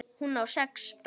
Hún á sex börn.